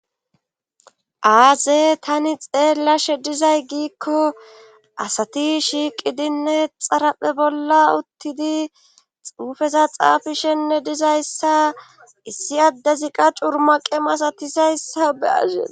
Aaze tani xeellashe dizay giikko asati shiiqi dinne xaraphe bolla uttidi xuufeza xaafishenne dizayssa issi addezi qa curmaqe masatisayssa beazees